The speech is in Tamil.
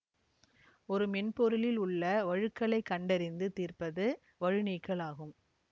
ஒரு மென்பொருளில் உள்ள வழுக்களைக் கண்டறிந்து தீர்ப்பது வழுநீக்கல் ஆகும்